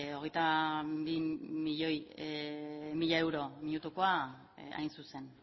hogeita bi mila mila euro minutukoa hain zuzen